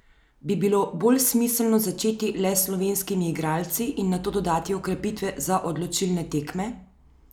Bi bilo bolj smiselno začeti le s slovenskimi igralci in nato dodati okrepitve za odločilne tekme?